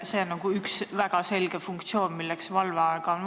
See on üks väga selge funktsioon, milleks seda valveaega vaja on.